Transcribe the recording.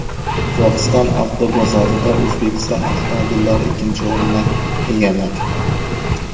Qozog‘iston avtobozorida O‘zbekiston avtomobillari ikkinchi o‘rinni egalladi.